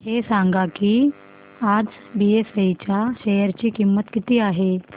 हे सांगा की आज बीएसई च्या शेअर ची किंमत किती आहे